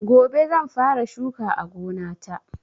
Gobe zan fara shuka a gonata.